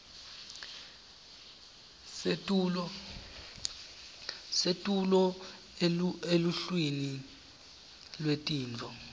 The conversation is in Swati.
setulu eluhlwini lwetintfo